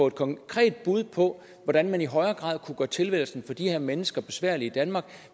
et konkret bud på hvordan man i højere grad kunne gøre tilværelsen for de her mennesker besværlig i danmark